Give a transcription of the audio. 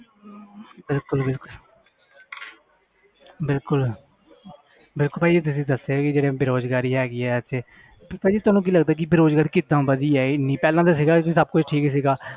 ਬਿਲਕੁਲ ਬਿਲਕੁਲ ਬਿਲਕੁਲ ਦੇਖੋ ਭਾਜੀ ਤੁਸੀਂ ਦੱਸਿਆ ਕਿ ਜਿਹੜੇ ਬੇਰੁਜ਼ਗਾਰੀ ਹੈਗੀ ਹੈ ਇੱਥੇ ਭਾਜੀ ਤੁਹਾਨੂੰ ਕੀ ਲੱਗਦਾ ਕਿ ਬੇਰੁਜ਼ਗਾਰੀ ਕਿੱਦਾਂ ਵਧੀ ਹੈ ਇੰਨੀ ਪਹਿਲਾਂ ਤਾਂ ਸੀਗਾ ਕਿ ਸਭ ਕੁੱਝ ਠੀਕ ਸੀਗਾ